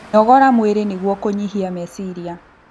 Nogoraga mwĩrĩ nĩguo kũnyihia mecirĩa